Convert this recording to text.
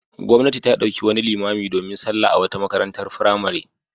Gwamnati ta ɗauki wani limami domin sallah a wata makarantar firamare.